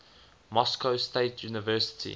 moscow state university